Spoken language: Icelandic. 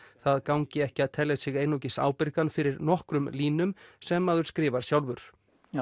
það gangi ekki að telja sig einungis ábyrgan fyrir nokkrum línum sem maður skrifar sjálfur